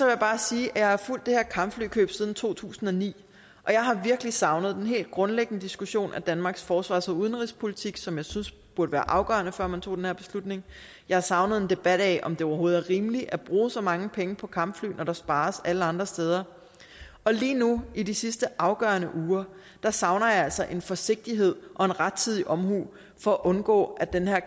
jeg bare sige at jeg har fulgt det her kampflykøb siden to tusind og ni og jeg har virkelig savnet den helt grundlæggende diskussion af danmarks forsvars og udenrigspolitik som jeg synes burde være afgørende før man tager den her beslutning jeg har savnet en debat om om det overhovedet er rimeligt at bruge så mange penge på kampfly når der spares alle andre steder og lige nu i de sidste afgørende uger savner jeg altså en forsigtighed og en rettidig omhu for at undgå at den her